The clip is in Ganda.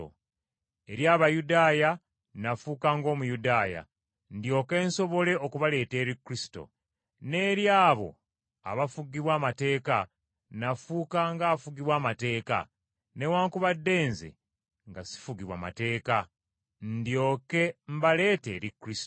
Eri Abayudaaya nafuuka ng’Omuyudaaya ndyoke nsobole okubaleeta eri Kristo. N’eri abo abafugibwa amateeka nafuuka ng’afugibwa amateeka, newaakubadde nze nga ssifugibwa mateeka, ndyoke mbaleete eri Kristo.